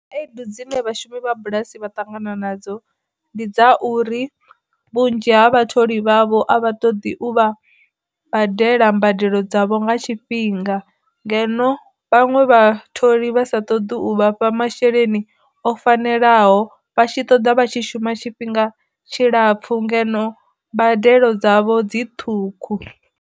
Khaedu dzine vhashumi vha bulasi vha ṱangana nadzo, ndi dza uri vhunzhi ha vhatholi vhavho a vha ṱoḓi u vha badela mbadelo dzavho nga tshifhinga, ngeno vhaṅwe vha tholi vha sa ṱoḓi u vha fha masheleni o fanelaho vhatshi ṱoḓa vha tshi shuma tshifhinga tshilapfu ngeno mbadelo dzavho dzi ṱhukhu.